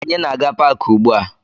Anyị na-aga paakị ugbua